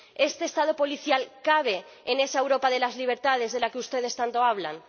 ¿Este Estado policial cabe en esa Europa de las libertades de la que ustedes tanto hablan?